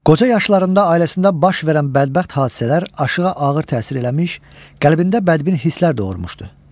Qoca yaşlarında ailəsində baş verən bədbəxt hadisələr Aşığa ağır təsir eləmiş, qəlbində bədbin hisslər doğurmuşdu.